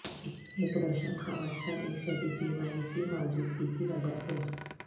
ایک روشن کاواتشن ایک شدید بیماری کی موجودگی کی وجہ سے